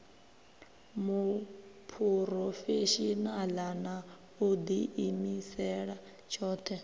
muphurofeshinala na u diimisela tshothe